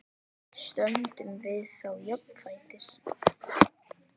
Stöndum við þá jafnfætis?